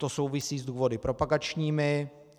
To souvisí s důvody propagačními.